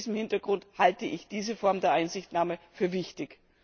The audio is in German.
Vor diesem Hintergrund halte ich diese Form der Einsichtnahme für wichtig.